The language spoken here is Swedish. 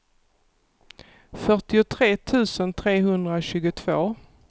fyrtiotre tusen trehundratjugotvå